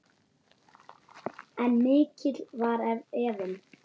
En mikill var efinn.